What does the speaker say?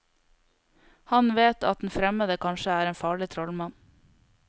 Han vet at den fremmede kanskje er en farlig trollmann.